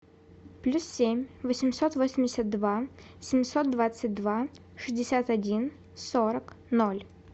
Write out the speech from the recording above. плюс семь восемьсот восемьдесят два семьсот двадцать два шестьдесят один сорок ноль